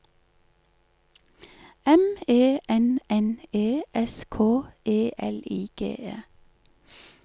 M E N N E S K E L I G E